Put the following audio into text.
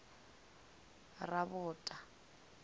rabota